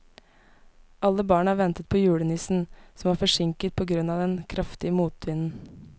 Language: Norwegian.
Alle barna ventet på julenissen, som var forsinket på grunn av den kraftige motvinden.